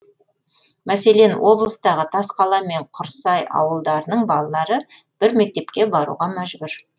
мәселен облыстағы тасқала мен құрсай ауылдарының балалары бір мектепке баруға мәжбүр